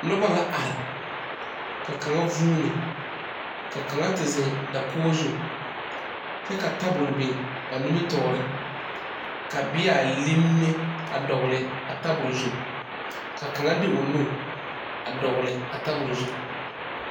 Noba la are ka kaŋa vuuni ka kaŋa te zeŋ dakogi zu kyɛ ka tabol biŋ ba nimitɔɔre ka bea linime a dɔgle a tabol zu ka kaŋa de o nu a dɔgle a tabol zu.